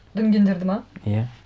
дүнгендерді ме иә